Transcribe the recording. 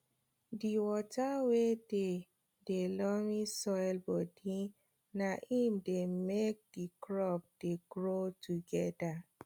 di water wey dey de loamy soil bodi na im dey make di crops dey grow togeda